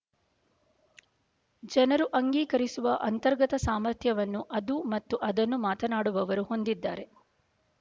ಜನರು ಅಂಗೀಕರಿಸುವ ಅಂತರ್ಗತ ಸಾಮರ್ಥ್ಯವನ್ನು ಅದು ಮತ್ತು ಅದನ್ನು ಮಾತನಾಡುವವರು ಹೊಂದಿ ದಿದ್ದಾರೆ